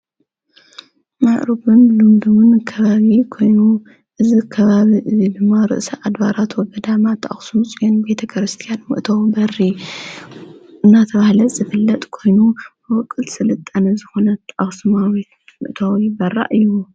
ማዕተብን ሉምድሙን ከባዊ ኮይኑ እዝ ከባብ እዙ ድማ ርእሰ ኣድባራት ወገዳማት ኣክሱም ፂዩን ቤተ ክርስቲያን ምእተዊ በሪ እናተብህለት ዘፍለጥ ኮይኑ መወቕል ሥልጠነ ዝኾነት ኣስማዊት ምእተዊዊ ይበራእ እዩ።